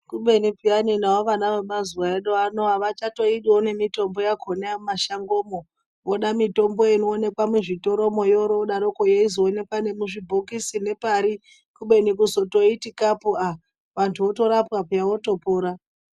Kubeni peyani navo vana vemazuva edu anaya havachatoidiyo nemitombo yakona yemumashango umo voda mitombo inoonekwa muzvitoro umwo yoryo yodaro yeizoonekwa nemuzvibhokisi nepari kubeni kuzotoiti kapu aah vantu votorapwa peya votopora.